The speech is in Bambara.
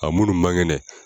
A munnu ma kɛnɛ.